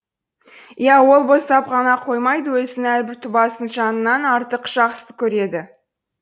иә ол боздап қана қоймайды өзінің әрбір тұбасын жанынан артық жақсы көреді